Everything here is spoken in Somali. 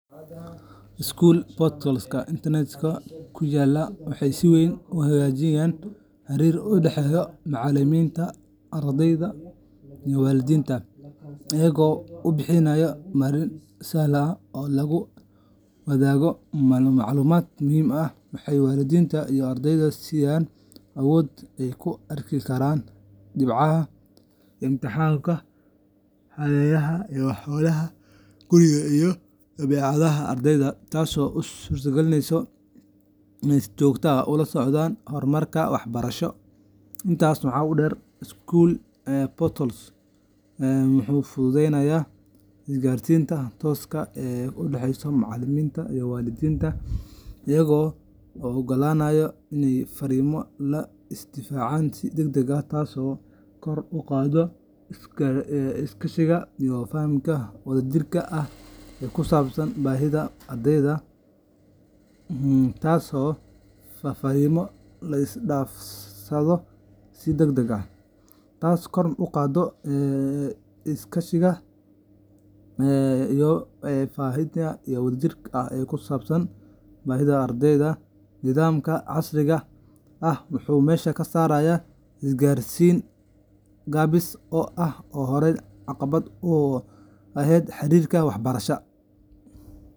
School portals-ka internet-ka ku yaalla waxay si weyn u hagaajiyaan xiriirka u dhexeeya macallimiinta, ardeyda, iyo waalidiinta iyaga oo bixiya marin sahlan oo lagu wadaago macluumaad muhiim ah. Waxay waalidiinta iyo ardeyda siiyaan awood ay ku arki karaan dhibcaha imtixaannada, xaadiritaanka, hawlaha guriga, iyo dabeecadda ardeyga, taasoo u suurtagelineysa inay si joogto ah ula socdaan horumarka waxbarasho. Intaa waxaa dheer, school portal-yadu waxay fududeeyaan isgaarsiinta tooska ah ee u dhexeysa macallimiinta iyo waalidiinta iyaga oo ogolaanaya in fariimo la is dhaafsado si degdeg ah, taasoo kor u qaadda iskaashiga iyo fahamka wadajirka ah ee ku saabsan baahida ardayga. Nidaamkan casriga ah wuxuu meesha ka saaraa isgaarsiin gaabis ah oo horey caqabad ugu ahayd xiriirka waxbarasho.